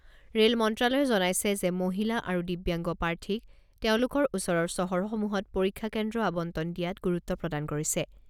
Rail মন্ত্ৰ্যালয়ে জনাইছে যে মহিলা আৰু দিব্যাংগ প্ৰাৰ্থীক তেওঁলোকৰ ওচৰৰ চহৰসমূহত পৰীক্ষা কেন্দ্ৰ আবণ্টন দিয়াত গুৰুত্ব প্ৰদান কৰিছে।